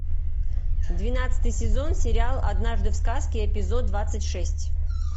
двенадцатый сезон сериал однажды в сказке эпизод двадцать шесть